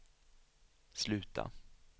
sluta